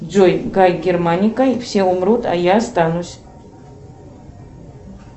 джой гай германика все умрут а я останусь